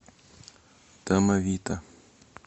домовита